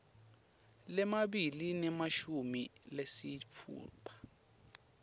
lamabili nemashumi lasitfupha